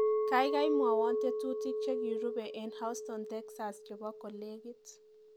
Kaikai mwowo tetutik jekirube eng houston texans chebo kolekit